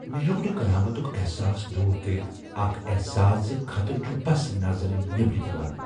مے ہیوك نہٕ قیامتُك احساس دوٗر كرِتھ اكھ احساس زِ خطرہ چھُ بس نظرِ نیبر یوان ۔